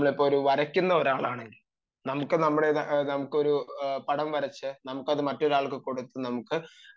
നമ്മൾ ഇപ്പോൾ വരയ്ക്കുന്ന ഒരാളാണെങ്കിൽ നമുക്ക് ഒരു പടം വരച്ചു അത് മറ്റൊരാൾക്ക് കൊടുത്തു